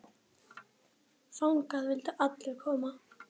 Þangað vildu allir koma.